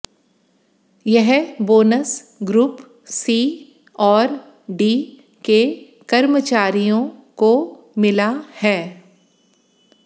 यह bonus group C और D के कर्मचारियों को मिला है